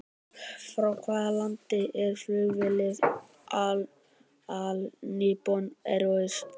Frá hvaða landi er flugfélagið All Nippon Airways?